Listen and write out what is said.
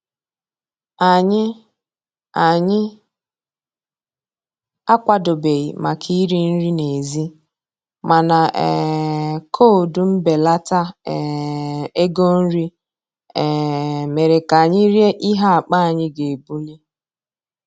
Anyị Anyị akwadobeghị maka iri nri n'èzí, mana um koodu mbelata um ego nri um mere ka anyị rie ihe akpa anyị ga-ebuli